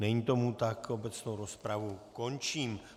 Není tomu tak, obecnou rozpravu končím.